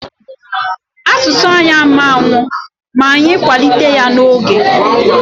Asụsụ anyị ama nnwụ ma anyị kwanite ya n'oge.